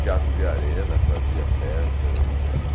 Teatro de Arena fazia peças.